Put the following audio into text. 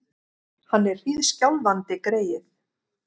Hann er hríðskjálfandi, greyið!